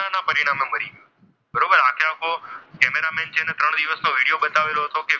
તે દિવસનો વિડીયો બતાવેલો હતો.